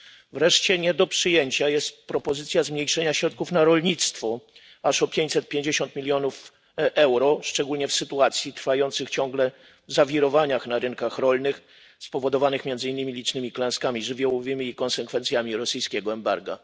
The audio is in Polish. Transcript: Wreszcie nie do przyjęcia jest propozycja zmniejszenia środków na rolnictwo aż o 550 milionów euro szczególnie w sytuacji trwających ciągle zawirowań na rynkach rolnych spowodowanych między innymi licznymi klęskami żywiołowymi i konsekwencjami rosyjskiego embarga.